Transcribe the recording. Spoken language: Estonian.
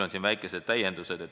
On küll väikesed täiendused.